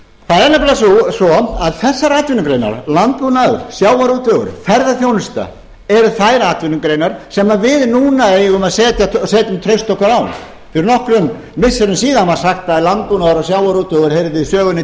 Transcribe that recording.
það er nefnilega svo að þessar atvinnugreinar landbúnaður sjávarútvegur ferðaþjónusta eru þær atvinnugreinar sem við núna eigum að setja traust okkar á fyrir nokkrum missirum síðan var sagt að landbúnaður og sjávarútvegur heyrðu sögunni